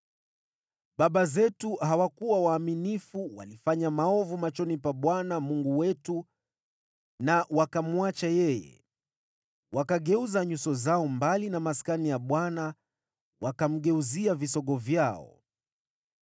Baba zetu hawakuwa waaminifu, walifanya maovu machoni pa Bwana Mungu wetu na wakamwacha yeye. Wakageuza nyuso zao mbali na Maskani ya Bwana wakamgeuzia visogo vyao.